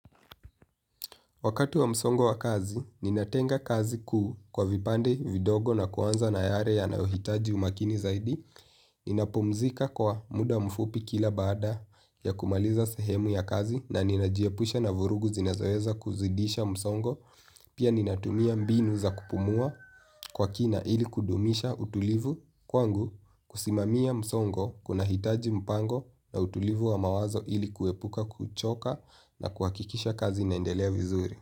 Wakati wa msongo wa kazi, ninatenga kazi kuu kwa vipande vidogo na kuanza na yale yanaohitaji umakini zaidi. Ninapumzika kwa muda mfupi kila baada ya kumaliza sehemu ya kazi na ninajiepusha na vurugu zinazoeza kuzidisha msongo. Pia ninatumia mbinu za kupumua kwa kina ili kudumisha utulivu kwangu kusimamia msongo kuna hitaji mpango na utulivu wa mawazo ili kuepuka kuchoka na kuakikisha kazi inaendelea vizuri.